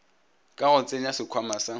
ka go tsenya sekhwama sa